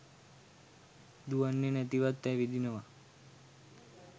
දුවන්නේ නැතිවත් ඇවිදිනවා.